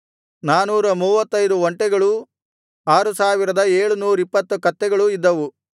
ನಾನೂರ ಮೂವತ್ತೈದು ಒಂಟೆಗಳೂ ಆರು ಸಾವಿರದ ಏಳುನೂರಿಪ್ಪತ್ತು ಕತ್ತೆಗಳೂ ಇದ್ದವು